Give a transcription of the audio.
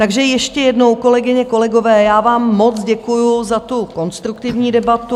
Takže ještě jednou, kolegyně, kolegové, já vám moc děkuju za tu konstruktivní debatu.